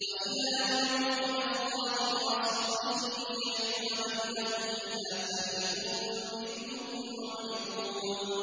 وَإِذَا دُعُوا إِلَى اللَّهِ وَرَسُولِهِ لِيَحْكُمَ بَيْنَهُمْ إِذَا فَرِيقٌ مِّنْهُم مُّعْرِضُونَ